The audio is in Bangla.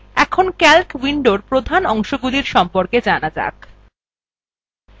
এখন calc window প্রধান অংশগুলির সম্পর্কে জানা যাক